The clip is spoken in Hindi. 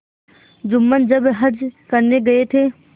जुम्मन जब हज करने गये थे